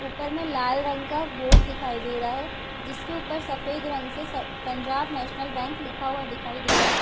ऊपर में लाल रंग का बोर्ड दिखाई दे रहा है जिसके ऊपर सफेद रंग से पंजाब नैशनल बैंक लिखा हुआ दिखाई दे रहा है ।